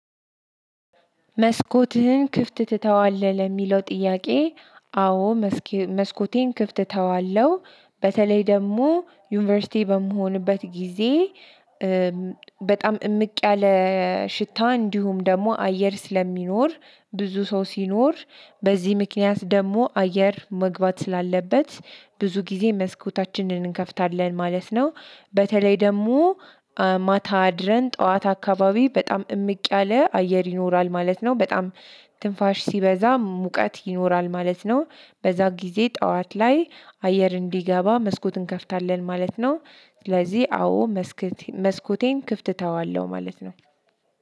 መስኮትህን ክፍት ትተዋለህ ለሚለው ጥያቄ? አዎ መስኮቴን ክፍት ተዋለሁ። በተለይ ደግሞ ዩኒቨርሲቲ በምሆንበት ጊዜ። በጣም እምቅ ያለ ሽታ እንዲሁም ደግሞ አየር ስለሚኖር ብዙ ሰው ሲኖር። በዚህ ምክንያት ደግሞ አየር መግባት ስላለበት ብዙ ጊዜ መስኮታችንን እንከፍታለን ማለት ነው። በተለይ ደግሞ ማታ አድረን ጠዋት አካባቢ በጣም እምቅ ያለ አየር ይኖራል ማለት ነው። በጣም ትንፋሽ ሲበዛ ሙቀት ይኖራል ማለት ነው። በዛ ጊዜ ጠዋት ላይ አየር እንዲገባ መስኮትን እንከፍታለን ማለት ነው። ስለዚህ አዎ መስኮቴን ክፍት ተዋለሁ ማለት ነው።